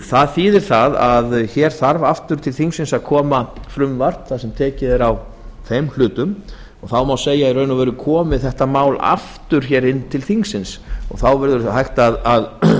það þýðir að til þingsins þarf að koma frumvarp þar sem tekið er á þeim hlutum þá má segja að í raun og veru komi þetta mál aftur til þingsins og þá verður hægt að